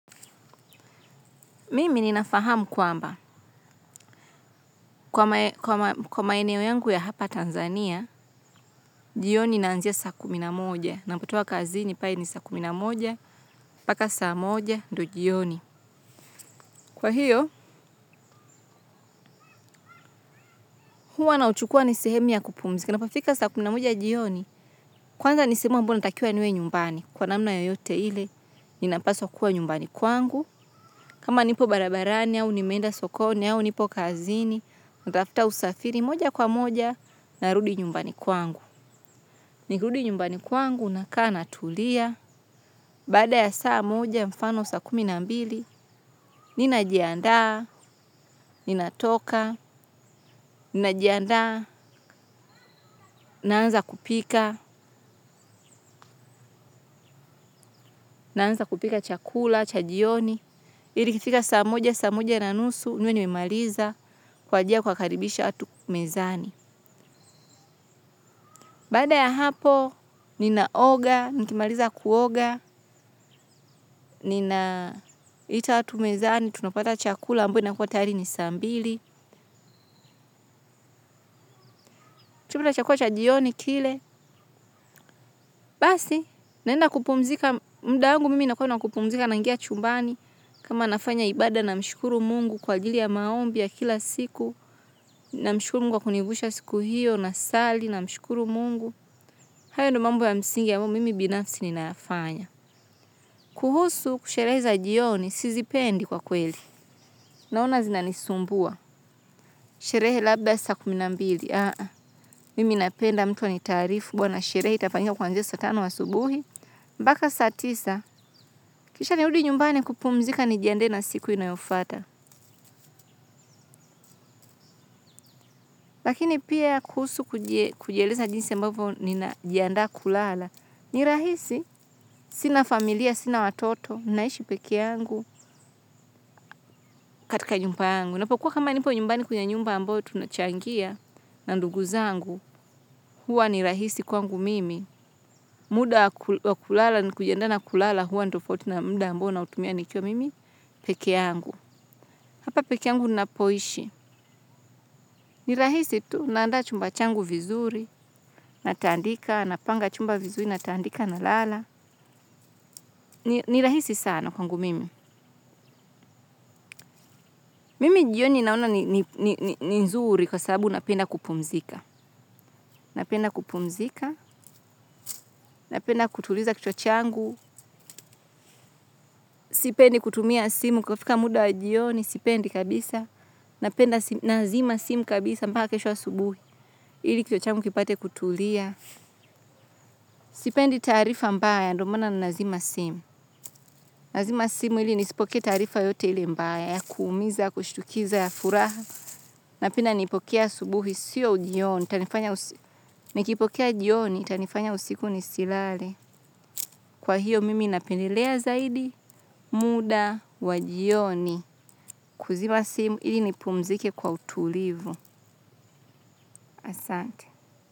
Mimi ninafahamu kwamba. Kwa maeneo yangu ya hapa Tanzania, jioni inaanzia saa kumi na moja, ninapotoka kazini pale ni saa kumi na moja, mpaka saa moja ndiyo jioni. Kwa hiyo, huwa nauchukua ni sehemu ya kupumzika. Inapofika saa kumi na moja jioni. Kwanza ni sehemu ambayo natakia niwe nyumbani. Kwa namna yoyote ile, ninapaswa kuwa nyumbani kwangu. Kama nipo barabarani au nimeenda sokoni au nipo kazini, natafuta usafiri moja kwa moja narudi nyumbani kwangu. Nikirudi nyumbani kwangu nakaa natulia, baada ya saa moja mfano saa kumi na mbili, ninajiandaa, ninatoka, ninajiandaa, naanza kupika, naanza kupika chakula cha jioni ili ikifika saa moja, saa moja na nusu, niwe nimemaliza kuanzia kuwakaribisha watu mezani. Baada ya hapo ninaoga, nikimaliza kuoga ninaita watu mezani, tunapata chakula ambayo inakuwa tayari ni saa mbili. Tukishakula chakula cha jioni kile. Basi naenda kupumzika, muda wangu mimi inakuwa ni wa kupumzika naingia chumbani. Kama nafanya ibaada namshukuru mungu kwa ajili ya maombi ya kila siku. Namshukuru mungu kwa kunivusha siku hiyo, nasali, namshukuru mungu. Hayo ndiyo mambo ya msingi ambayo mimi binafsi ninayafanya. Kuhusu sherehe za jioni, sizipendi kwa kweli. Naona zinanisumbua. Sherehe labda saa kumi na mbili. Mimi napenda mtu anitaarifu bwana sherehe itafanyiwa kuanzia saa tano asubuhi. Mpaka saa tisa, kisha nirudi nyumbani kupumzika nijiandae na siku inayofuata. Lakini pia kuhusu kujieleza jinsi ambavyo ninajiandaa kulala. Ni rahisi, sina familia, sina watoto, naishi peke yangu katika nyumba yangu. Ninapokuwa kama nipo nyumbani kwenye nyumba ambayo tunachangia na ndugu zangu, huwa ni rahisi kwangu mimi. Muda wa kulala kujiandaa na kulala huwa ni tofauti na muda ambao nautumia nikiwa mimi peke yangu. Hapa peke yangu ninapoishi. Ni rahisi tu, naanda chumba changu vizuri, natandika, napanga chumba vizuri, natandika nalala. Ni rahisi sana kwangu mimi. Mimi jioni naona ni nzuri kwa sababu napenda kupumzika. Napenda kupumzika, napenda kutuliza kichwa changu, sipendi kutumia simu kufika muda wa jioni, sipendi kabisa, napenda nazima simu kabisa mpaka kesho asubuhi ili kichwa changu kipate kutulia, sipendi taarifa mbaya ndiyo maana ninazima simu, nazima simu ili nisipokee taarifa yoyote ile mbaya, ya kuumiza, ya kushtukiza, ya furaha, napenda nipokee asubuhi, siyo jioni, nikipokea jioni itanifanya usiku nisilale. Kwa hiyo mimi napendelea zaidi muda wa jioni kuzima simu ili nipumzike kwa utulivu. Asante.